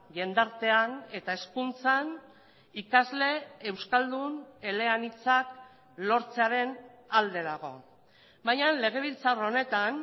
jendartean eta hezkuntzan ikasle euskaldun eleanitzak lortzearen alde dago baina legebiltzar honetan